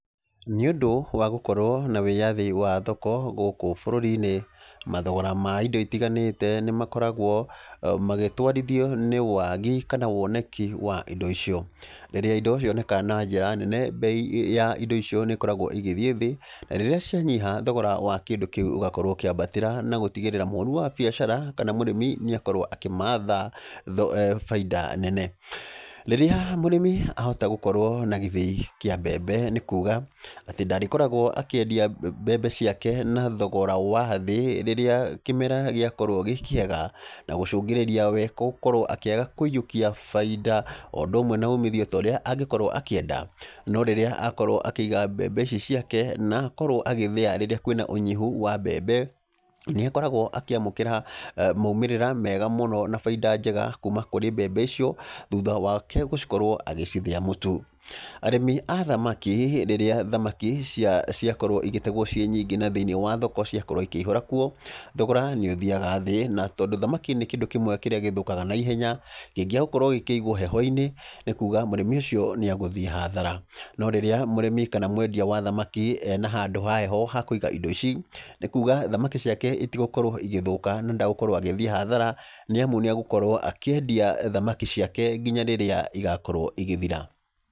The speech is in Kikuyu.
Nĩ ũndũ wa gũkorwo na wĩyathi wa thoko gũkũ bũrũri-inĩ. Mathogora ma indo itiganĩte nĩ makoragwo magĩtwarithio nĩ waagi, kana woneki wa indo icio. Rĩrĩa indo cioneka na njĩra nene, mbei ya indo icio nĩ ĩkoragwo ĩgĩthiĩ thĩ, na rĩrĩa cianyiha thogora wa kĩndũ kĩu ũgakorwo ũkĩambatĩra na gũtigĩrĩra mũhũri wa biacara, kana mũrĩmi nĩ akorwo akĩmatha baida nene. Rĩrĩa mũrĩmi ahota gũkorwo na gĩthĩi kĩa mbembe nĩ kuga, atĩ ndarĩkoragwo akĩendia mbembe ciake na thogora wa thĩ rĩrĩa kĩmera gĩakorwo gĩ kĩega, na gũcũngĩrĩria we gũkorwo akĩaga kũiyũkia baida, o ũndũ ũmwe na uumithio ta ũrĩa angĩkorwo akĩenda. No rĩrĩa akorwo akĩiga mbembe ici ciake, na akorwo agĩthĩa rĩrĩa kwĩna ũnyihu wa mbembe, nĩ akoragwo akĩamũkĩra maumĩrĩra mega mũno na baida njega, kuuma kũrĩ mbembe icio, thutha wake gũkorwo agĩcithĩa mũtu. Arĩmi a thamaki, rĩrĩa thamaki ciakorwo igĩtegwo ciĩ nyingĩ na thĩiniĩ wa thoko ciakorwo ikĩihũra kuo, thogora nĩ ũthiaga thĩ. Na tondũ thamaki nĩ kĩndũ kĩmwe kĩrĩa gĩthũkaga naihenya, kĩngĩaga gũkorwo gĩkĩigwo heho-inĩ, nĩ kuuga mũrĩmi ũcio nĩ egũthiĩ hathara. No rĩrĩa mũrĩmi kana mwendia wa thamaki, ena handũ ha heho ha kũiga indo ici, nĩ kuuga thamaki ciake itigũkorwo igĩthũka, na ndagũkorwo agĩthiĩ hathara. Nĩ amu nĩ agũkorwo akĩendia thamaki ciake nginya rĩrĩa igakorwo igĩthira.